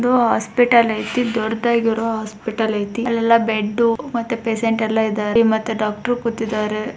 ಇದು ಹಾಸ್ಪಿಟಲ್ ಇದೆ ದೊಡ್ಡದಾಗಿ ಹಾಸ್ಪಿಟಲ್ ಐತೆ ಅಲ್ಲಿ ಬೆಡ್ಡು ಮತ್ತೆ ಪೇಷಂಟ್ ಎಲ್ಲಾ ಇದಾರೆ ಡಾಕ್ಟರ್ ಇದಾರೆ.